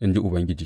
in ji Ubangiji.